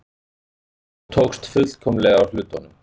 Þó tókst fullkomlega á hlutunum.